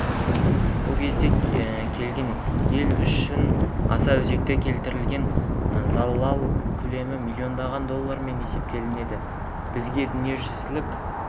бұл кез келген ел үшін аса өзекті келтірілген залал көлемі миллиардтаған доллармен есептеледі бізге дүниежүзілік